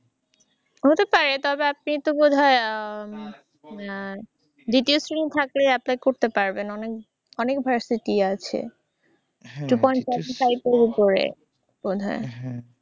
হতে পারে তবে আপনি তো বোধহয় হম এর detail stream থাকলে আপনি করতে পারবেন। অনেক ভার্সিটি আছে। two point five এর চাইতে উপরে মনে হয়।